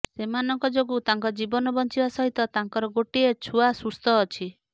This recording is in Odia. ସେମାନଙ୍କ ଯୋଗୁ ତାଙ୍କ ଜୀବନ ବଞ୍ଚିବା ସହିତ ତାଙ୍କର ଗୋଟିଏ ଛୁଆ ସୁସ୍ଥ ଅଛି